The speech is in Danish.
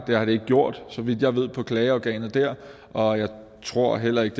har det ikke gjort så vidt jeg ved på klageorganet og jeg tror heller ikke